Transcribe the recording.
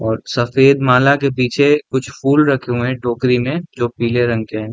और सफेद माला के पीछे कुछ फूल रखे हुए हैं टोकरी में जो पीले रंग के हैं।